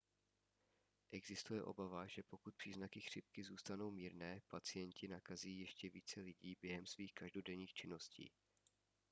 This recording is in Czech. existuje obava že pokud příznaky chřipky zůstanou mírné pacienti nakazí ještě více lidí během svých každodenních činností